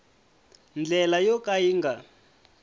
ndlela yo ka yi nga